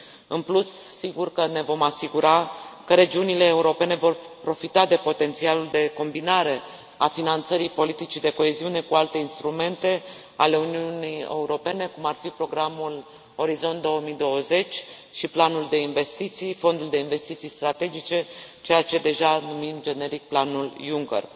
În plus, sigur că ne vom asigura că regiunile europene vor profita de potențialul de combinare a finanțării politicii de coeziune cu alte instrumente ale Uniunii Europene, cum ar fi programul Orizont 2020 și planul de investiții, fondul de investiții strategice, ceea ce numim, deja, generic, planul Juncker.